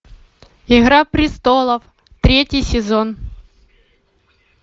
игра престолов третий сезон